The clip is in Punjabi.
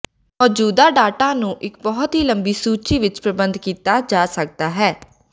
ਮੌਜੂਦਾ ਡਾਟਾ ਨੂੰ ਇੱਕ ਬਹੁਤ ਹੀ ਲੰਬੀ ਸੂਚੀ ਵਿੱਚ ਪ੍ਰਬੰਧ ਕੀਤਾ ਜਾ ਸਕਦਾ ਹੈ